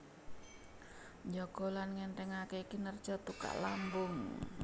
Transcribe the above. Njaga lan ngènthèngaké kinerja tukak lambung